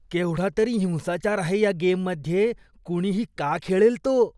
केवढा तरी हिंसाचार आहे ह्या गेममध्ये. कुणीही का खेळेल तो?